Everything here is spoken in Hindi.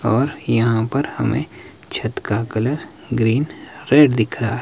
और यहां पर हमे छत का कलर ग्रीन रेड दिख रहा है।